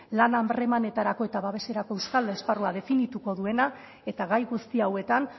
lan harremanetarako eta babeserako estal esparrua definituko duena eta gai guzti hauetan